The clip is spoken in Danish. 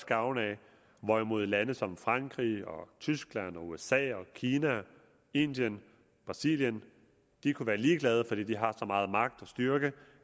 gavn af hvorimod lande som frankrig tyskland usa kina indien og brasilien kunne være ligeglade fordi de har så meget magt og styrke